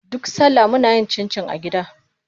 Duk salla muna yin cincin a gida.